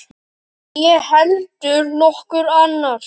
Né heldur nokkur annar.